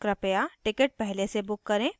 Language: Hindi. कृपया टिकट पहले से book करें